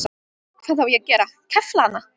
Hvað á ég að gera, kefla hana?